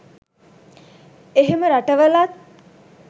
එහෙම රටවලත්